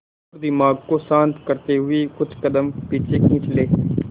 और दिमाग को शांत करते हुए कुछ कदम पीछे खींच लें